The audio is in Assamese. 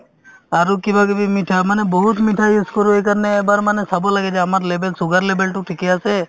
আৰু কিবাকিবি মিঠা মানে বহুত মিঠা use কৰো এইকাৰণে এবাৰ মানে চাব লাগে যে আমাৰ level sugar level তো ঠিকে আছে